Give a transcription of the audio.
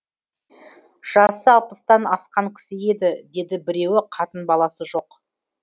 жасы алпыстан асқан кісі еді деді біреуі қатын баласы жоқ